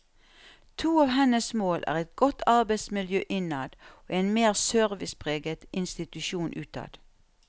To av hennes mål er et godt arbeidsmiljø innad og en mer servicepreget institusjon utad.